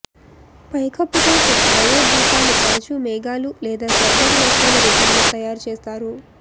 పైకప్పు కోసం డయోడ్ దీపాలు తరచూ మేఘాలు లేదా స్వర్గపు వస్తువుల రూపంలో తయారు చేస్తారు